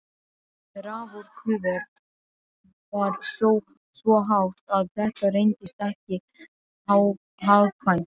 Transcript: Raforkuverð var svo hátt að þetta reyndist ekki hagkvæmt.